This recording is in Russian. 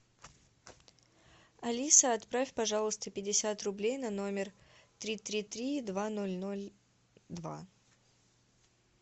алиса отправь пожалуйста пятьдесят рублей на номер три три три два ноль ноль два